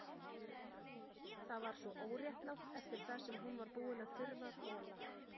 Það var svo óréttlátt eftir það sem hún var búin að þurfa að þola.